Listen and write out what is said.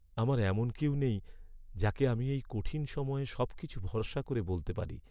আমার এমন কেউ নেই যাকে আমি এই কঠিন সময়ে সব কিছু ভরসা করে বলতে পারি।